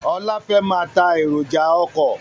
Ọlá fẹ́ máa tá èròjà ọkọ̀